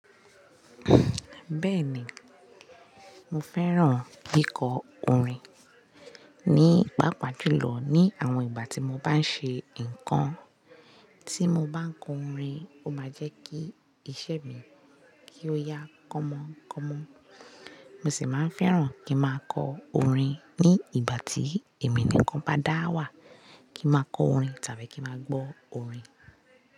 Bẹ́ẹ̀ni, mo fẹ́ràn kíkọ orin. Ni pàápàá jùlọ ni àwọn ìgbà tí mo bá ń ṣe nǹkan, tí mo bá ń kọ orin, ó máa jẹ́ kí ìṣe mi kí ó yá kọ́mọ kọ́mọ. Mo sì máa ń fẹ́ràn kí n máa kọ orin ní ìgbà tí èmi nìkan bá dáwà, kí n máa kọ orin tàbí kí n máa gbọ́ orin.